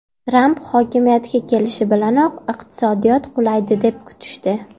Tramp hokimiyatga kelishi bilanoq iqtisodiyot qulaydi deb kutishdi.